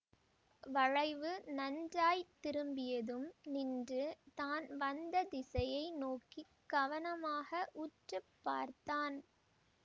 வளைவு நன்றாய் திரும்பியதும் நின்று தான் வந்த திசையை நோக்கி கவனமாக உற்று பார்த்தான்